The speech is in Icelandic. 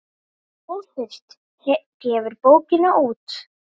Óþurft gefur bókina út.